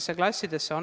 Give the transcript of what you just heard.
Teema: kriisiabimeetmed.